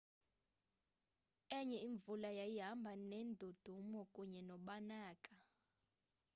enye imvula yayihamba neendudumo kunye nokubaneka